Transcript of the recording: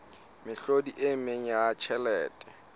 mehlodi e meng ya tjhelete